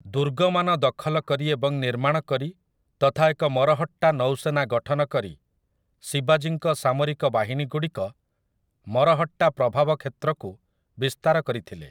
ଦୁର୍ଗମାନ ଦଖଲ କରି ଏବଂ ନିର୍ମାଣ କରି ତଥା ଏକ ମରହଟ୍ଟା ନୌସେନା ଗଠନ କରି, ଶିବାଜୀଙ୍କ ସାମରିକ ବାହିନୀଗୁଡ଼ିକ ମରହଟ୍ଟା ପ୍ରଭାବ କ୍ଷେତ୍ରକୁ ବିସ୍ତାର କରିଥିଲେ ।